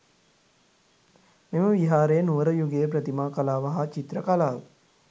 මෙම විහාරය නුවර යුගයේ ප්‍රතිමා කලාව හා චිත්‍ර කලාව